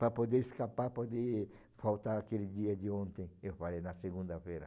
Para poder escapar, para poder faltar àquele dia de ontem, eu falei, na segunda-feira.